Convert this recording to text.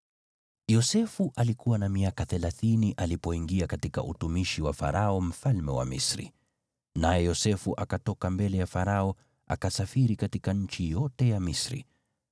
Yosefu alikuwa na miaka thelathini alipoingia katika utumishi wa Farao mfalme wa Misri. Naye Yosefu akatoka mbele ya Farao akasafiri katika nchi yote ya Misri.